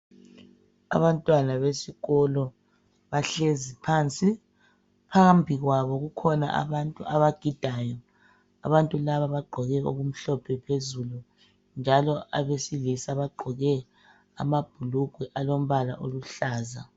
Abantwana besikolo bahlezi phansi. Phambi kwabo kukhona abantu abagidayo. Abantu laba bagqoke okumhlophe phezulu njalo abesilisa bagqoke amabhulugwe alombala aluhlaza.